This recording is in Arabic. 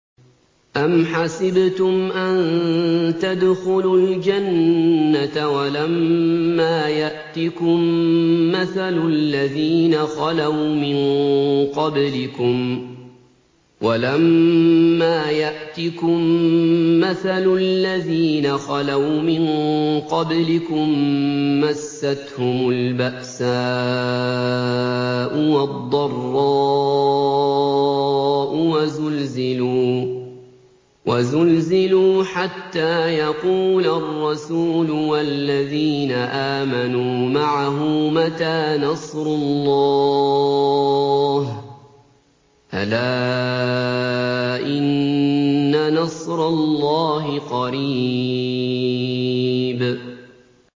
أَمْ حَسِبْتُمْ أَن تَدْخُلُوا الْجَنَّةَ وَلَمَّا يَأْتِكُم مَّثَلُ الَّذِينَ خَلَوْا مِن قَبْلِكُم ۖ مَّسَّتْهُمُ الْبَأْسَاءُ وَالضَّرَّاءُ وَزُلْزِلُوا حَتَّىٰ يَقُولَ الرَّسُولُ وَالَّذِينَ آمَنُوا مَعَهُ مَتَىٰ نَصْرُ اللَّهِ ۗ أَلَا إِنَّ نَصْرَ اللَّهِ قَرِيبٌ